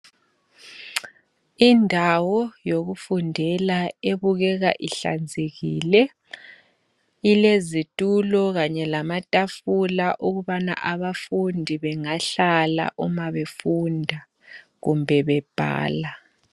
indawo wokufundela aebukeka ihlanzekile elezitula kanye lamatafula ukuba abafundi bengahlala befunda kumbe bebhala